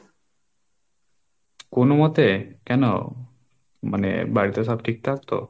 কোনোমতে কেন? মানে বাড়িতে সব ঠিকঠাক তো?